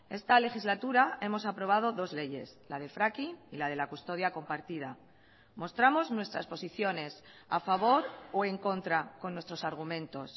esta legislatura hemos aprobado dos leyes la de fracking y la de la custodia compartida mostramos nuestras posiciones a favor o en contra con nuestros argumentos